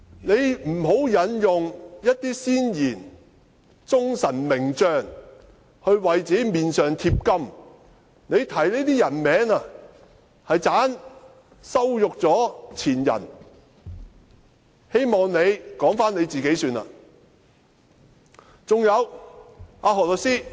他不要引用一些先賢、忠臣名將來為自己的臉上貼金，他提出這些名字，只會羞辱前人，我希望他只說自己便好。